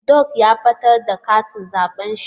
Dung ya batar da katin zabe shi.